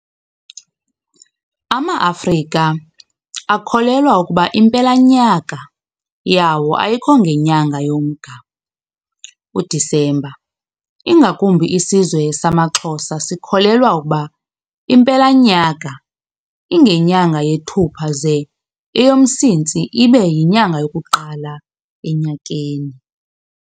AmaAfrika akholelwa ukuba impela nyaka yawo ayikho ngenyanga yoMnga, uDecember, ingakumbi isizwe samaXhosa sikholelwa ukuba impela nyaka ingenyanga yeThupha ze eyoMsintsi ibe yinyanga yokuqala enyakeni.